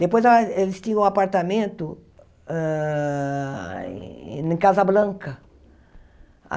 Depois, ah eles tinham um apartamento hã em Casablanca.